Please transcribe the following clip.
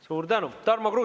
Suur tänu!